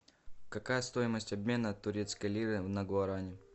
какая стоимость обмена турецкой лиры на гуарани